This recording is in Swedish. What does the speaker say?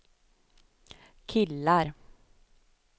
killar